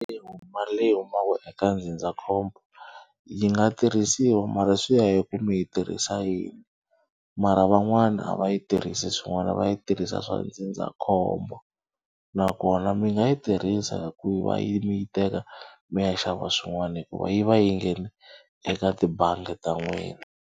mali leyi humaka eka ndzindzakhombo yi nga tirhisiwa mara swi ya hi ku mi yi tirhisa yini mara van'wana a va yi tirhisi swin'wana va yi tirhisa swa ndzindzakhombo nakona mi nga yi tirhisa hi ku va yi mi yi teka mi ya xava swin'wana hikuva yi va yi nghene eka tibangi ta n'wina.